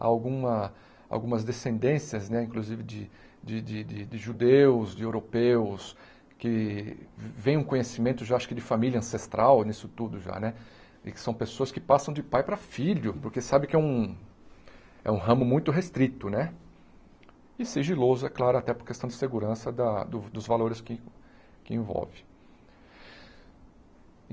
Alguma algumas descendências, né inclusive, de de de de judeus, de europeus, que vem um conhecimento, já acho que de família ancestral nisso tudo já né, e que são pessoas que passam de pai para filho, porque sabe que é um é um ramo muito restrito né, e sigiloso, é claro, até por questão de segurança da dos dos valores que que envolve.